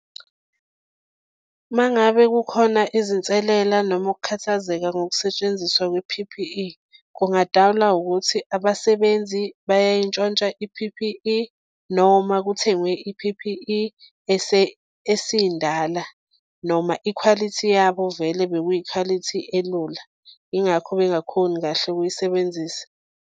Uma ngabe kukhona izinselela noma ukukhathazeka ngokusetshenziswa kwe-P_P_E kungadalwa ukuthi abasebenzi bayayintshontsha i_P_P_E noma kuthengwe i-P_P_E esindala noma ikhwalithi yabo vele bekuyikhwalithi elula, yingakho bengakhoni kahle ukuyisebenzisa.